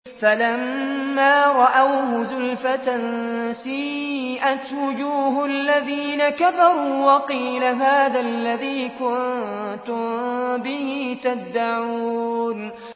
فَلَمَّا رَأَوْهُ زُلْفَةً سِيئَتْ وُجُوهُ الَّذِينَ كَفَرُوا وَقِيلَ هَٰذَا الَّذِي كُنتُم بِهِ تَدَّعُونَ